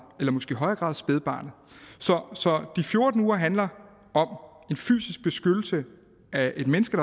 eller måske i højere grad af spædbarnet så de fjorten uger handler om en fysisk beskyttelse af et menneske